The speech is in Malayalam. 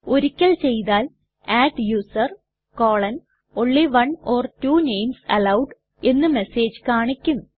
ഒരിക്കൽ ചെയ്താൽ adduser160 only one or two names allowed എന്ന് മെസ്സേജ് കാണിക്കും